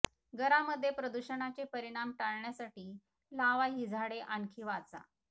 घरामध्ये प्रदूषणाचे परिणाम टाळण्यासाठी लावा ही झाडे आणखी वाचा